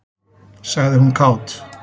sagði hún kát.